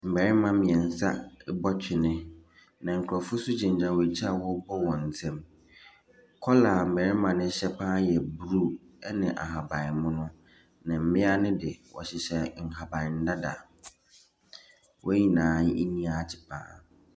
Mmarima bɔ twene. Na nkrɔfo nso gyinagyina wɔn akyi a wxrebɔ wɔn nsam. Kɔla a mmarima no hyɛ pa ara yɛ blue ne ahabanmono. Na mmea no de, wɔhyehyɛ nhaban dada. Wɔn nyinaa ani agye pa ara.